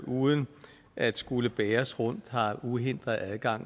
uden at skulle bæres rundt har uhindret adgang